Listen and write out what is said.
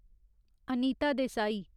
Anita Desai